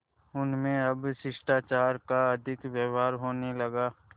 उनमें अब शिष्टाचार का अधिक व्यवहार होने लगा